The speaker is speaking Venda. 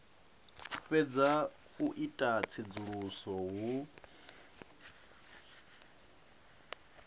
fhedza u ita tsedzuluso hu